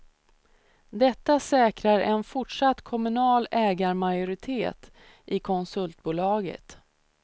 Detta säkrar en fortsatt kommunal ägarmajoritet i konsultbolaget.